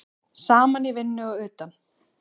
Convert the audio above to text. Saman í vinnu og utan.